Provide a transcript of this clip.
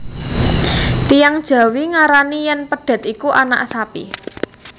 Tiyang jawi ngarani yen pedhet iku anak sapi